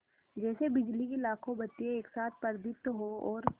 जैसे बिजली की लाखों बत्तियाँ एक साथ प्रदीप्त हों और